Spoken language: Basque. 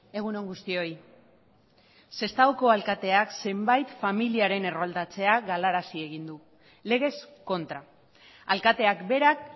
egun on guztioi sestaoko alkateak zenbait familiaren erroldatzea galarazi egin du legez kontra alkateak berak